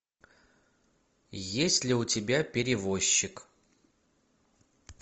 есть ли у тебя перевозчик